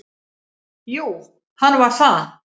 Jú, hann var það.